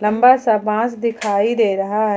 लंबा सा बाज दिखाई दे रहा है।